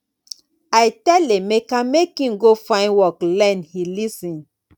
i tell emeka make im go find work learn he lis ten